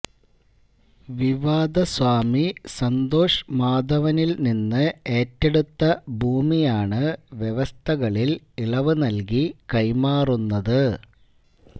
വിവാദസ്വാമി സന്തോഷ് മാധവനില് നിന്ന് ഏറ്റെടുത്ത ഭൂമിയാണ് വ്യവസ്ഥകളില് ഇളവ് നല്കി കൈമാറുന്നത്